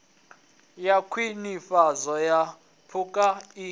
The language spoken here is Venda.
wa khwinifhadzo ya phukha i